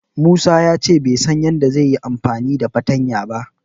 Musa ya ce bai san yadda zai yi amfani da fartanya ba.